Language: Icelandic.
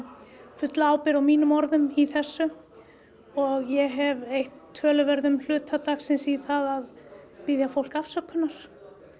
fulla ábyrgð á mínum orðum í þessu og ég hef eytt töluverðum hluta dagsins í að biðja fólk afsökunar